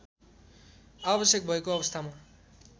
आवश्यक भएको अवस्थामा